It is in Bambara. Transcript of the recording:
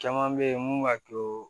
Caman bɛ yen mun b'a to